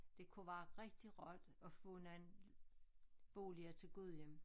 Det kunne være rigtig rart at få noget boliger til Gudhjem